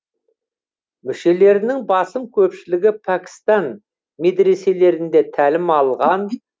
мүшелерінің басым көпшілігі пәкістан медреселерінде тәлім алған